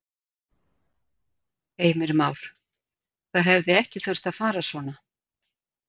Heimir Már: Það hefði ekki þurft að fara svona?